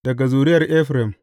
Daga zuriyar Efraim.